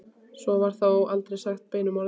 Svo var þó aldrei sagt beinum orðum.